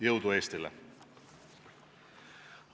Jõudu Eestile!